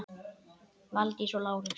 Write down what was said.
Valdís og Lárus.